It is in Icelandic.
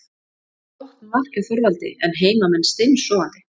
Flott mark hjá Þorvaldi en heimamenn steinsofandi.